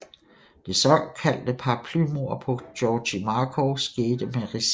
Det såkaldt paraplymord på Georgi Markov skete med ricin